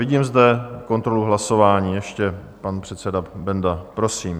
Vidím zde kontrolu hlasování - ještě pan předseda Benda, prosím.